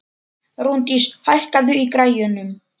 Rúndís, hækkaðu í græjunum.